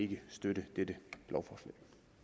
kan støtte dette lovforslag